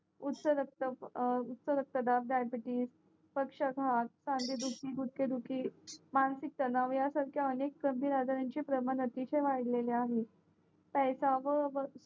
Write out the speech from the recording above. उतारक्तदाब diabetes पक्षाताप खांदेदुखी गुडघे दुःखी मानसिक तणाव यासारखे कमी आजाराचे प्रमाण अतिशय वाडले आहे